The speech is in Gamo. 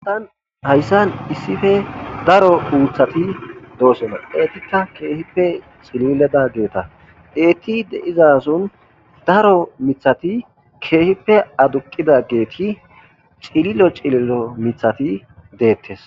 Tani hayssan issife daro uuthati doosona eetikka keehippe cilledageeta eetti deizason daro mithati keehippe aduqidageeti cililo cililo mithati deettes.